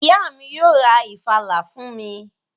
Ìyá mi yóò ra ìfàlà fún mi